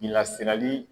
Lasiri